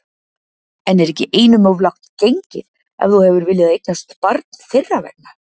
En er ekki einum of langt gengið, ef þú hefur viljað eignast barn þeirra vegna?